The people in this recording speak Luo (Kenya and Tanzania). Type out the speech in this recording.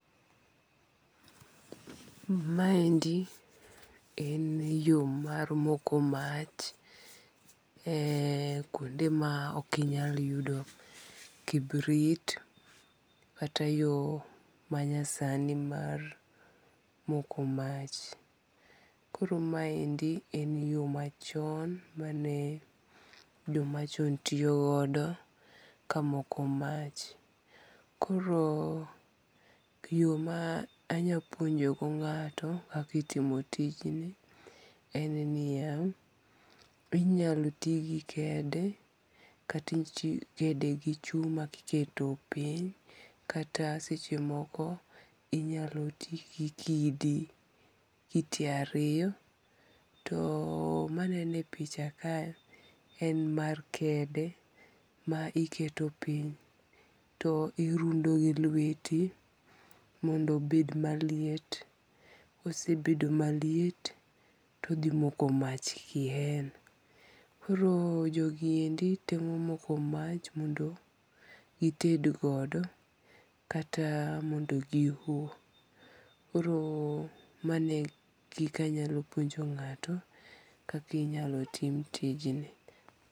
Maendi eneyo mar moko mach e kuonde ma okinyal yudo kibrit, kata yo manyasani mar moko mach, koro maendi en yo machon ma jomachon tiyogodo kamoko mach, koro yo ma anyalo puonjogo nga'to kaka itimo tijni en niya, inyalo ti gi kede kata kede gi chuma kiketo piny, kata sechemoko inyalo ti gi kidi kite ariyo, to maneno e picha kae en mar kede ma iketo piny to irundo gi lweti mondo obed maliet, kosebedo maliet tothimoko mach kien , koro jogiendi temo moko mach mondo gitedgodo kata mondo gi oho koro mano kikanyalo puonjo nga'to kaka inyalo timtijni.